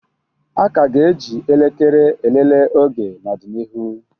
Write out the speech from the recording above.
A ka ga-eji elekere elelee oge n'ọdịnihu